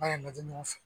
Ba yɛrɛ mɛtiri ɲɔgɔn fɛ